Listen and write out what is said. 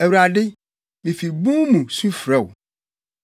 Awurade, mifi bun mu su frɛ wo;